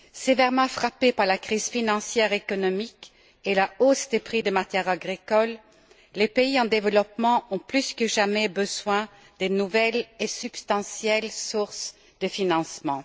Sévèrement frappés par la crise financière et économique et par la hausse des prix des matières agricoles, les pays en développement ont plus que jamais besoin de nouvelles et substantielles sources de financement.